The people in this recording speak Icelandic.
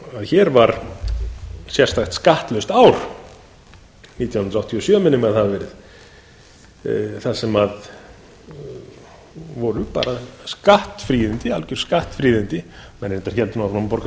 að hér var sérstakt skattlaust ár nítján hundruð áttatíu og sjö minnir mig að það hafi verið þar sem voru algjör skattfríðindi menn héldu auðvitað áfram að borga